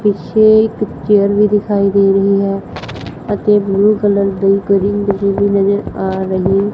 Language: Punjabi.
ਪਿੱਛੇ ਇੱਕ ਚੇਅਰ ਵੀ ਦਿਖਾਈ ਦੇ ਰਹੀ ਹੈ ਅਤੇ ਬਲੂ ਕਲਰ ਦੇ ਵੀ ਨਜ਼ਰ ਆ ਰਹੇ--